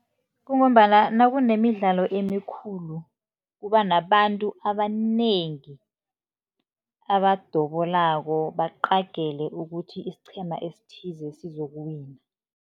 Kungombana nakunemidlalo emikhulu, kuba nabantu abanengi abadobolako baqagele ukuthi isiqhema esithize sizokuwina.